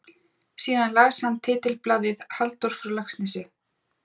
Síðan las hann titilblaðið: Halldór frá Laxnesi?